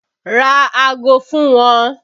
Ra ago fún wọn!